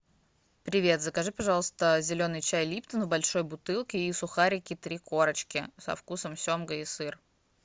привет закажи пожалуйста зеленый чай липтон в большой бутылке и сухарики три корочки со вкусом семга и сыр